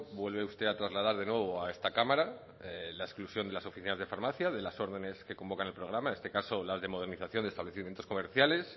vuelve usted a trasladar de nuevo a esta cámara la exclusión de las oficinas de farmacia de las órdenes que convocan el programa en este caso la de modernización de establecimientos comerciales